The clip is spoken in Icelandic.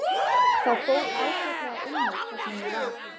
Það fór ágætlega um mig þar sem ég var.